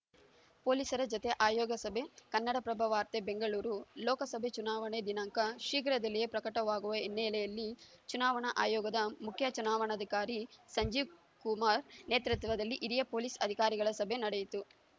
ಪೊಲೀಸರ ಜತೆ ಆಯೋಗ ಸಭೆ ಕನ್ನಡಪ್ರಭ ವಾರ್ತೆ ಬೆಂಗಳೂರು ಲೋಕಸಭೆ ಚುನಾವಣೆ ದಿನಾಂಕ ಶೀಘ್ರದಲ್ಲಿಯೇ ಪ್ರಕಟವಾಗುವ ಹಿನ್ನೆಲೆಯಲ್ಲಿ ಚುನಾವಣಾ ಆಯೋಗದ ಮುಖ್ಯ ಚುನಾವಣಾಧಿಕಾರಿ ಸಂಜೀವ್‌ ಕುಮಾರ್‌ ನೇತೃತ್ವದಲ್ಲಿ ಹಿರಿಯ ಪೊಲೀಸ್‌ ಅಧಿಕಾರಿಗಳ ಸಭೆ ನಡೆಯಿತು